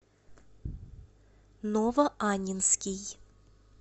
новоаннинский